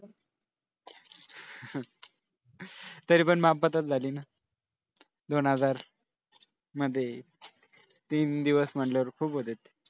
तरीपण मापात च झाली ना दोन हजार मध्ये तीन दिवस म्हटल्यावर खूप होतात.